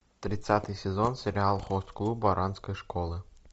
тридцатый сезон сериал хост клуб оранской школы